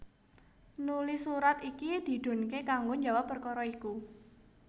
Nuli surat iki didhunké kanggo njawab perkara iku